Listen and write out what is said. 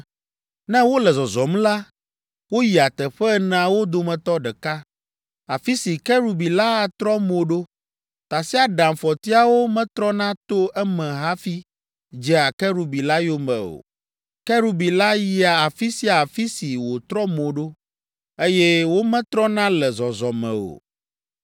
Ne wole zɔzɔm la, woyia teƒe eneawo dometɔ ɖeka, afi si kerubi la atrɔ mo ɖo. Tasiaɖamfɔtiawo metrɔna to eme hafi dzea kerubi la yome o. Kerubi la yia afi sia afi si wòtrɔ mo ɖo, eye wometrɔna le zɔzɔme o.